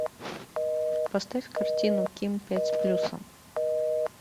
поставь картину ким пять с плюсом